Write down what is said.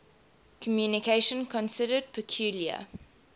communication considered peculiar